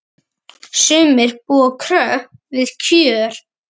Sumir búa kröpp við kjör.